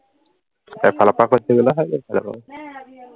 এফালৰ পৰা ফচি গলে হৈ যাব আৰু